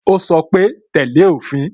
Ó sọ pé "tẹ́lẹ̀ òfin"